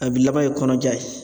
A bi laban ye kɔnɔja ye.